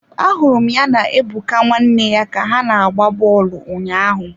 Ahụrụ m ya na Ebuka nwanne ya ka ha na-agba bọọlụ ụnyaahụ.